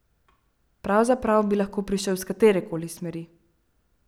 Pravzaprav bi lahko prišel iz katere koli smeri.